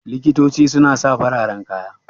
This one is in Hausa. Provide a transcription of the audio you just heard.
Likitoci su na sa fararen kaya